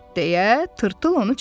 deyə tırtıl onu çağırdı.